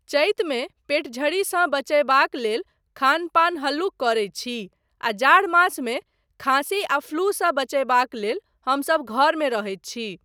चैतमे पेटझड़ीसँ बचयबाक लेल खान पान हल्लुक करैत छी आ जाड़ मासमे खाँसी आ फ्लूसँ बचयबाक लेल हमसब घरमे रहैत छी।